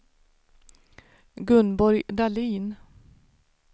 Gunborg Dahlin